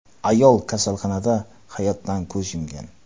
Ayol kasalxonada hayotdan ko‘z yumgan .